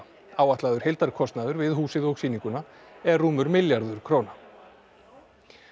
áætlaður heildarkostnaður við húsið og sýninguna er rúmur milljarður króna